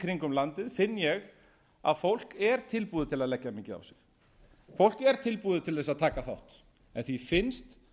kringum landið finn ég að fólk er tilbúið til að leggja mikið á sig fólk er tilbúið til þess að taka þátt en því finnst